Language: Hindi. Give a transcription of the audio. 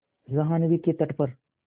जाह्नवी के तट पर